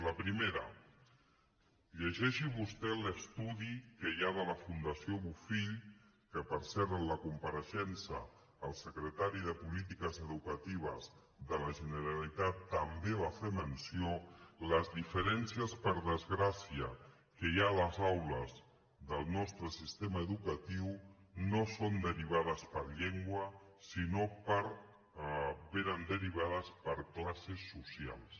la primera llegeixi vostè l’estudi que hi ha de la fundació bofill que per cert en la compareixença del secretari de polítiques educatives de la generalitat també en va fer menció les diferències per desgràcia que hi ha a les aules del nostre sistema educatiu no són derivades per llengua sinó que vénen derivades per classes socials